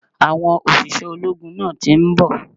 Àwọn òṣìṣẹ́ ológun náà ti nbò